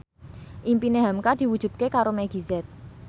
impine hamka diwujudke karo Meggie Z